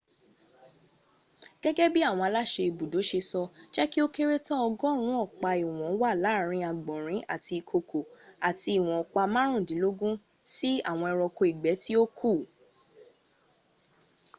gẹ́gẹ́ bí àwọn aláṣẹ ibùdó ṣe sọ jẹ́ kí ó kéré tán ọgọ́rùn ún ọ̀pa ìwọ̀n wà láàárín àgbọ̀nrin àti ìkokò àti ìwọ̀n ọ̀pá márùndínlógún sí àwọn ẹranko ìgbẹ́ tí ó kù